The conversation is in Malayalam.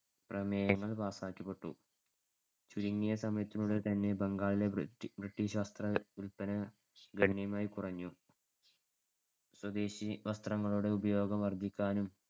പ്രമേയങ്ങൾ pass ക്കി വിട്ടു. ചുരുങ്ങിയ സമയത്തിനുള്ളിൽത്തന്നെ ബംഗാളിലെ ബ്രിട്ടീഷ് വസ്ത്രവില്പന ഗണ്യമായി കുറഞ്ഞു. സ്വദേശി വസ്ത്രങ്ങളുടെ ഉപയോഗം വർദ്ധിക്കാനും